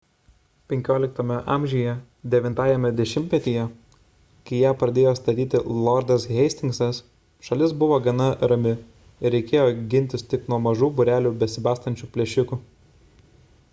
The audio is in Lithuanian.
xv a 9-ajame dešimtmetyje kai ją pradėjo statyti lordas hastingsas šalis buvo gana rami ir reikėjo gintis tik nuo mažų būrelių besibastančių plėšikų